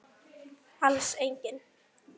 Alls engin.